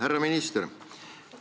Härra minister!